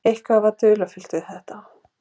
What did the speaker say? Eitthvað er dularfullt við þetta.